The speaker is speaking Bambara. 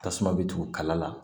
Tasuma bɛ tugu kala la